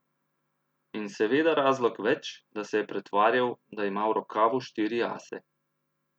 In seveda razlog več, da se je pretvarjal, da ima v rokavu štiri ase.